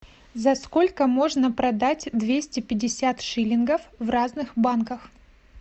за сколько можно продать двести пятьдесят шиллингов в разных банках